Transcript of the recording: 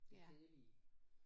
Det kedelige